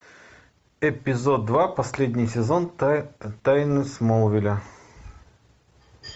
эпизод два последний сезон тайны смолвиля